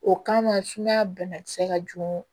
O kama sumaya banakisɛ ka jugu